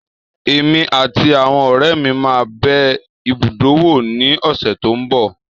Èmi àti àwọn ọ̀rẹ́ mi máa bẹ ibùdó wò ní ọ̀sẹ̀ tó n bọ̀